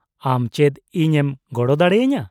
-ᱟᱢ ᱪᱮᱫ ᱤᱧᱮᱢ ᱜᱚᱲᱚ ᱫᱟᱲᱮ ᱟᱹᱧᱟᱹ ?